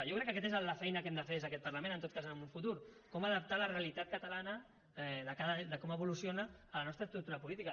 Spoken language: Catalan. jo crec que aquesta és la feina que hem de fer des d’aquest parlament en tot cas en un futur com adaptar la realitat catalana de com evoluciona a la nostra estructura política